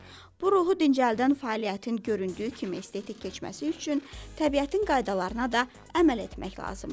Bu ruhu dincəldən fəaliyyətin göründüyü kimi estetik keçməsi üçün təbiətin qaydalarına da əməl etmək lazımdır.